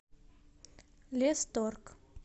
лесторг